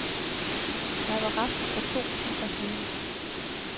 Jeg var rask for to timer siden.